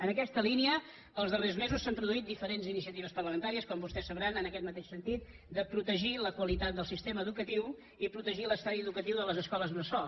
en aquesta línia els darrers mesos s’han produït diferents iniciatives parlamentàries com vostès sabran en aquest mateix sentit de protegir la qualitat del sistema educatiu i protegir l’estadi educatiu de les escoles bressol